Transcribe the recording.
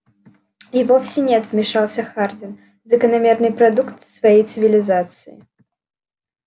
и вовсе нет вмешался хардин закономерный продукт своей цивилизации